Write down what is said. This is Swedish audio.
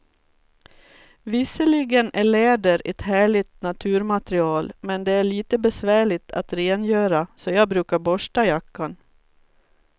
Visserligen är läder ett härligt naturmaterial, men det är lite besvärligt att rengöra, så jag brukar borsta jackan.